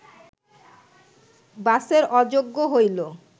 বাসের অযোগ্য হইল